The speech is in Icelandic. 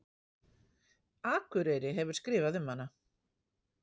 Akureyri hefur skrifað um hana.